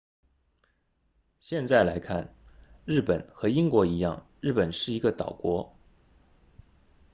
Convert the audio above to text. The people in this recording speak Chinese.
现在来看日本和英国一样日本是一个岛国